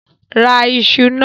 Ra iṣu náà!